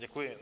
Děkuji.